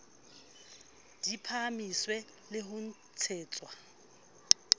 di phahamiswe le ho ntshetswa